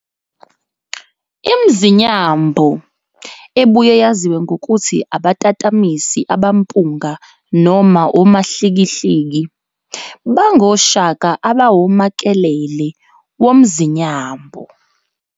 ImZinyambo, ebuye yaziwe ngokuthi abatatamisi abampunga noma omahlikihliki, bangoshaka abawomakelele womZinyambo.